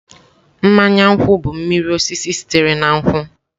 Mmanya nkwu bụ mmiri osisi sitere na nkwụ.